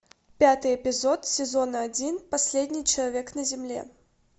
пятый эпизод сезона один последний человек на земле